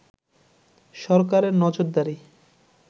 সরকারের নজরদারি